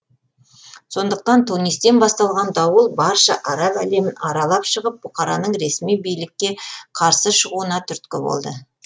сондықтан тунистен басталған дауыл барша араб әлемін аралап шығып бұқараның ресми билікке қарсы шығуына түрткі болды